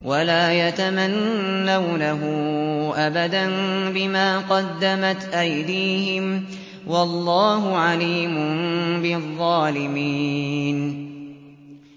وَلَا يَتَمَنَّوْنَهُ أَبَدًا بِمَا قَدَّمَتْ أَيْدِيهِمْ ۚ وَاللَّهُ عَلِيمٌ بِالظَّالِمِينَ